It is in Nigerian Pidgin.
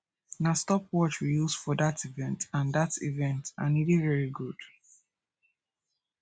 na stop watch we use for dat event and dat event and e dey very good